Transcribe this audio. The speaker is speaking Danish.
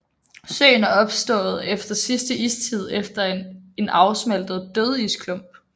Søen er opstået efter sidste istid efter en afsmeltet dødisklump